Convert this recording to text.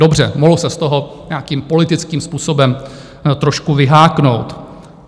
Dobře, mohl se z toho nějakým politickým způsobem trošku vyháknout.